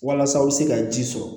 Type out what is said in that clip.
Walasa aw bɛ se ka ji sɔrɔ